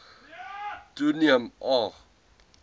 toeneem a g